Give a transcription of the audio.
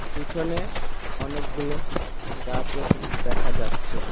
পিছনে অনেকগুলো গাছও দেখা যাচ্ছে।